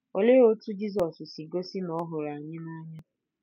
Olee otú Jizọs si gosi na ọ hụrụ anyị n’anya?